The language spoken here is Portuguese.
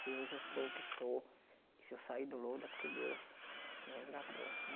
Se hoje eu sou o que sou, se eu sair do lodo, é porque Deus me resgatou.